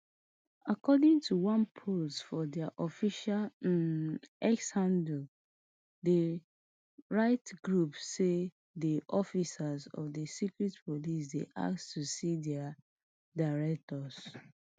according to one post for diaofficial um x handle di rights group say di officers of di secret police dey ask to see dia directors